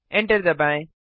enter दबाएँ